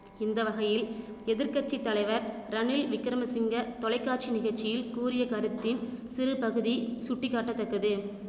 இந்த வகையில் எதிர் கட்சி தலைவர் ரணில் விக்கிரமசிங்க தொலைக்காட்சி நிகழ்ச்சியில் கூறிய கருத்தின் சிறுபகுதி சுட்டிக்காட்டத்தக்கது